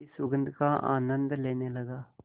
की सुगंध का आनंद लेने लगा